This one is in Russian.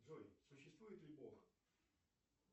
джой существует ли бог